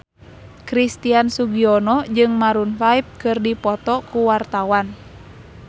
Christian Sugiono jeung Maroon 5 keur dipoto ku wartawan